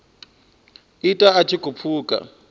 ita a tshi khou pfuka